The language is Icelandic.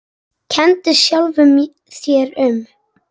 Kenndi sjálfum sér um.